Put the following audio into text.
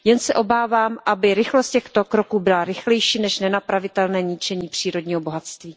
Jen se obávám, aby rychlost těchto kroků byla rychlejší než nenapravitelné ničení přírodního bohatství.